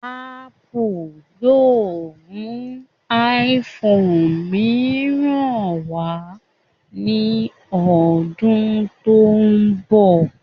Ápù yóò mú iphone mìíràn wá ní ọdún tó ń bọ̀